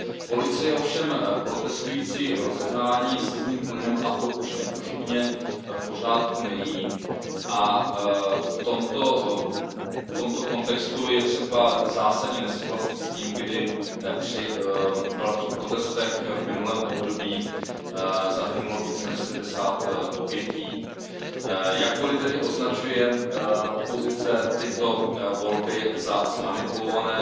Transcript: Policie ovšem protestující rozhání slzným plynem a to už nepochybně v pořádku není a v tomto kontextu je třeba zásadně nesouhlasit s tím, kdy při velkých protestech v minulém období zahynulo více než 70 obětí. Jakkoli tedy označuje opozice tyto volby za zmanipulované,